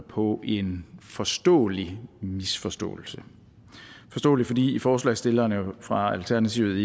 på en forståelig misforståelse forståelig fordi forslagsstillerne fra alternativet